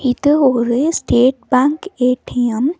இது ஒரு state bank A T M .